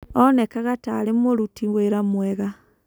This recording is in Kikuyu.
Onekanaga ta arĩ mũruti wĩra mwega.